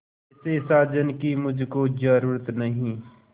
ऐसे साजन की मुझको जरूरत नहीं